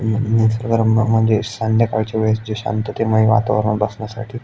निसर्ग रम्य म्हणजे संध्याकाळच्या वेळेस जे शांततेमय वातावरण बसण्यासाठी--